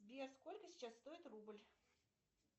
сбер сколько сейчас стоит рубль